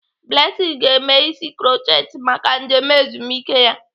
Blessing ga-eme isi krutchet maka njem ezumike ya.